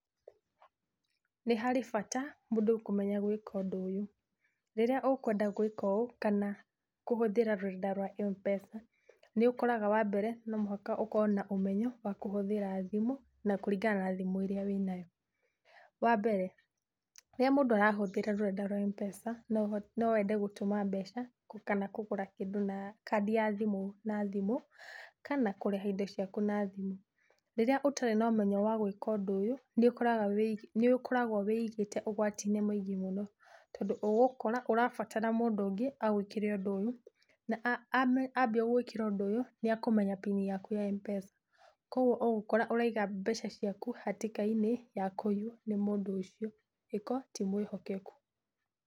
Nĩ harĩ bata mũndũ kũmenya gwĩka ũndũ ũyũ. Rĩrĩa ũkwenda gwĩka ũũ kana kũhũthĩra rũrenda rwa mpesa, nĩũkoraga wambere no mũhaka ũkoo na ũmenyo wa kũhũthĩra thimũ, na kũringana na thimũ ĩrĩa wĩnayo. Wambere, rĩrĩa mũndũ arahũthĩra rũrenda rwa mpesa, noũho, nowende gũtũma mbeca kana kũgũra kĩndũ na kandi ya thimũ na thimũ, kana kũrĩha indo ciaku na thimũ. Rĩrĩa ũtarĩ nomenyo wa gwĩka ũndũ ũyũ nĩ ũkoraga, nĩ ũkoragwo wĩigĩte ũgwati-inĩ mũingĩ mũno tondũ ũgũkora ũrabatara mũndũ ũngĩ agwĩkĩre ũndũ ũyũ, na ame, ambia gũgwĩkĩra ũndũ ũyũ nĩakũmenya pin yaku ya mpesa, kogwo ũgũkora ũraiga mbeca ciaku hatĩka-inĩ ya kũiywo nĩ mũndũ ũcio agĩkoo ti mwĩhokeku.